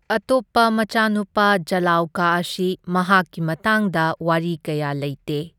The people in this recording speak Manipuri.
ꯑꯇꯣꯞꯄ ꯃꯆꯥꯅꯨꯄꯥ ꯖꯂꯥꯎꯀꯥ ꯑꯁꯤ ꯃꯍꯥꯛꯒꯤ ꯃꯇꯥꯡꯇ ꯋꯥꯔꯤ ꯀꯌꯥ ꯂꯩꯇꯦ꯫